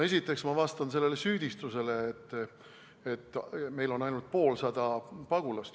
Esiteks vastan ma sellele süüdistusele, et meil on ainult poolsada pagulast.